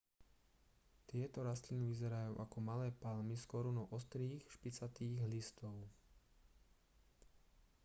tieto rastliny vyzerajú ako malé palmy s korunou ostrých špicatých listov